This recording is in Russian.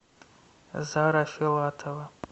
зара филатова